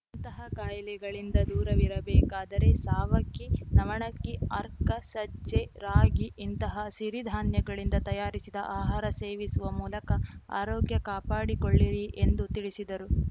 ಇಂತಹ ಕಾಯಿಲೆಗಳಿಂದ ದೂರವಿರ ಬೇಕಾದರೆ ಸಾವಕ್ಕಿ ನವಣಕ್ಕಿ ಅರ್ಕ ಸಜ್ಜೆ ರಾಗಿ ಇಂತಹ ಸಿರಿಧಾನ್ಯಗಳಿಂದ ತಯಾರಿಸಿದ ಆಹಾರ ಸೇವಿಸುವ ಮೂಲಕ ಆರೋಗ್ಯ ಕಾಪಾಡಿಕೊಳ್ಳಿರಿ ಎಂದು ತಿಳಿಸಿದರು